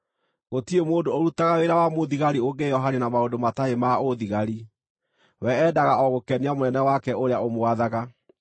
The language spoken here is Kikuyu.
Gũtirĩ mũndũ ũrutaga wĩra wa mũthigari ũngĩĩohania na maũndũ matarĩ ma ũũthigari: we endaga o gũkenia mũnene wake ũrĩa ũmwathaga.